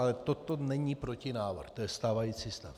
Ale toto není protinávrh, to je stávající stav.